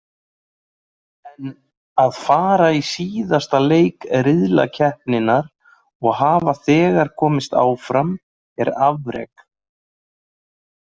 En að fara í síðasta leik riðlakeppninnar og hafa þegar komist áfram er afrek.